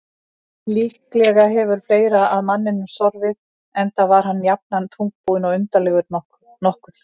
En líklega hefur fleira að manninum sorfið, enda var hann jafnan þungbúinn og undarlegur nokkuð.